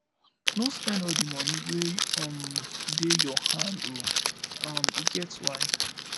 no spend all di moni wey um dey your hand o um e get why